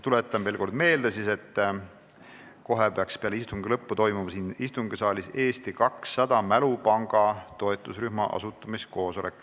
Tuletan veel kord meelde, et kohe peale istungi lõppu toimub siin saalis Eesti 200 Mälupanga toetusrühma asutamiskoosolek.